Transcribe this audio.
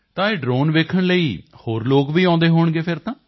ਤਾਂ ਇਹ ਡ੍ਰੋਨ ਦੇਖਣ ਲਈ ਹੋਰ ਲੋਕ ਵੀ ਆਉਂਦੇ ਹੋਣਗੇ ਫਿਰ ਤਾਂ